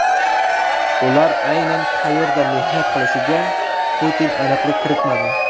Ular aynan qayerda mehnat qilishiga Putin aniqlik kiritmadi.